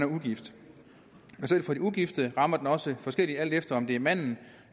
ugift selv for de ugifte rammer den også forskelligt alt efter om det er manden